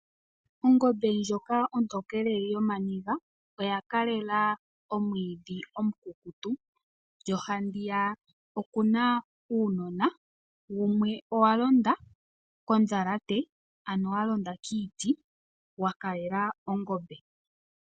Ongombe ontokele yooniga oya kalela omwiidhi omukukutu. Handiyaka oku na uunona wa londa kondhalate, ano wa londa kiiti wa kalela ongombe.